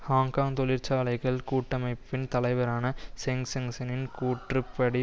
Hong Kong தொழிற்சாலைகள் கூட்டமைப்பின் தலைவரான சென் செங்செனின் கூற்றுப் படி